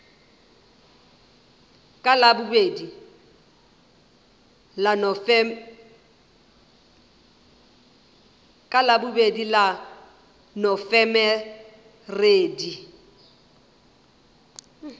ka labobedi la nofemere di